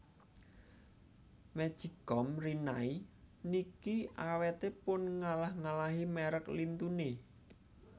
Magic com Rinnai niki awete pun ngalah ngalahi merk lintune